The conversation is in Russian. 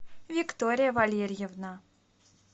виктория валерьевна